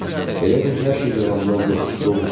Elə bil hər şey yalandan yox, doğrudan idi.